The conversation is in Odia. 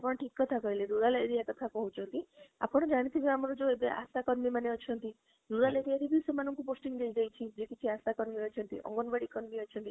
ଆପଣ ଠିକ କଥା କହିଲେ rural area କଥା କହୁଛନ୍ତି ଆପଣ ଜାଣି ଥିବେ ଆମର ଯୋଉ କର୍ମୀ ମାନେ ଅଛନ୍ତି rural area ରେ ବି ସେମାନଙ୍କୁ posting ଦେଇ ଦେଇଛି ଯେ କିଛି କର୍ମୀ ଅଛନ୍ତି କର୍ମୀ ଅଛନ୍ତି